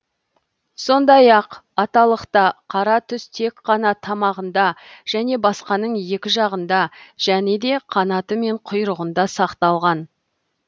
сондай ақ аталықта қара түс тек қана тамағында және басқаның екі жағында және де қанаты мен құйрығында сақталған